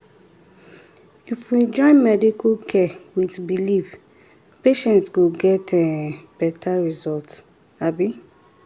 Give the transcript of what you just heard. if we join medical care with belief patient go get better results abi um